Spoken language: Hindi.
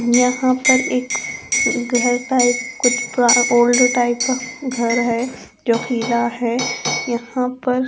यहां पर एक घर टाइप कुछ पूरा ओल्ड टाइप घर है जो खीला है यहां पर --